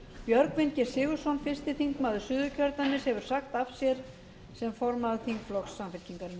björgvin g sigurðsson fyrsti þingmaður suðurkjördæmis hefur sagt af sér sem formaður þingflokks samfylkingarinnar